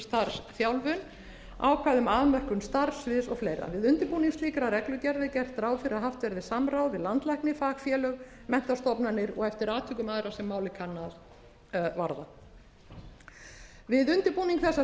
starfsþjálfun ákvæði um afmörkun starfssviðs og fleira við undirbúning slíkrar reglugerðar er gert ráð fyrir að haft verði samráð við landlækni fagfélög menntastofnanir og eftir atvikum aðra sem málið kann að varða við undirbúning þessa